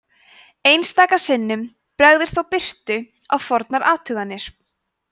einstaka sinnum bregður þó birtu á fornar athuganir